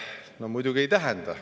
No muidugi ei tähenda.